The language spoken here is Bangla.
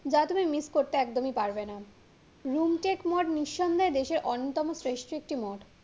যা তুমি miss করতে একদমই পারবে না, রুমকেক মঠ নিঃসন্দেহে দেশের অন্যতম শ্রেষ্ট একটি মঠ